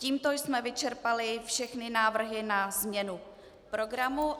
Tímto jsme vyčerpali všechny návrhy na změnu programu.